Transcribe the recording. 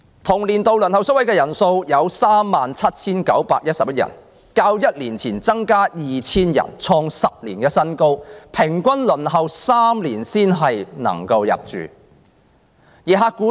同年度，輪候宿位的長者有 37,911 人，較1年前增加 2,000 人，創10年新高，而他們的平均輪候時間是3年。